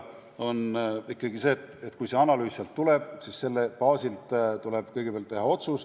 Aga kui see analüüs sealt tuleb, siis selle baasilt tuleb kõigepealt teha otsus.